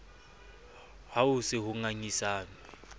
ha ho se ho ngangisanwe